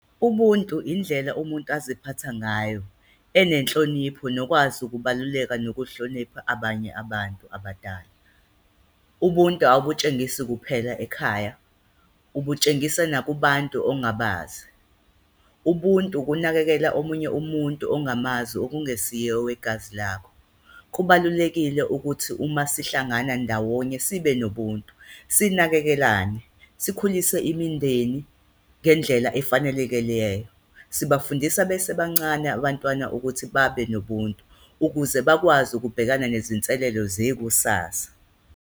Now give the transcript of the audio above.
Ubuntu indlela umuntu aziphatha ngayo enenhlonipho nokwazi ukubaluleka nokuhlonipha abanye abantu abadala. Ubuntu abukutshengisi kuphela ekhaya, ubutshengisa nakubantu ongabazi, ubuntu ukunakekela omunye umuntu ongamazi, okungesiyo owegazi lakho. Kubalulekile ukuthi uma sihlangana ndawonye sibe nobuntu, sinakekelane, sikhulise imindeni ngendlela efanelekeleyo. Sibafundisa besebancane abantwana ukuthi babe nobunto ukuze bakwazi ukubhekana nezinselelo zekusasa.